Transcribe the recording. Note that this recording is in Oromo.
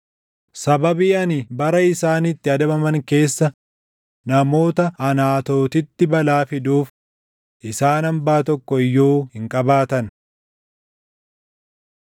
Sababii ani bara isaan itti adabaman keessa namoota Anaatootitti balaa fiduuf isaan hambaa tokko iyyuu hin qabaatan.’ ”